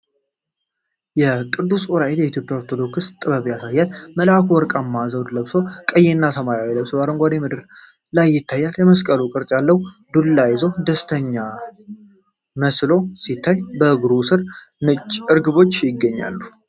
ቅዱስ ዑራኤልን በኢትዮጵያ ኦርቶዶክስ ጥበብ ያሳያል፤ መልአኩ ወርቃማ ዘውድ ለብሶ፣ ቀይና ሰማያዊ ልብስ በአረንጓዴ ምድር ላይ ይታያል። የመስቀል ቅርጽ ያለው ዱላ ይዞ ደስተኛ መስሎ ሲታይ፣ እግሩ ሥር ነጭ እርግቦች ይገኛሉ።